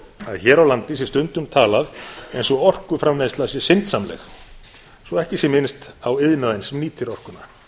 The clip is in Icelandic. að hér á landi sé stundum talað eins og orkuframleiðsla sé syndsamleg svo ekki sé minnst á iðnaðinn sem nýtir orkuna